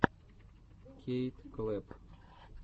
кейт клэпп